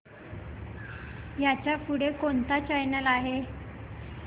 ह्याच्या पुढे कोणता चॅनल आहे